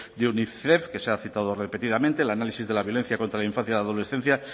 de unicef que se ha citado repetidamente el análisis de la violencia contra la infancia y adolescencia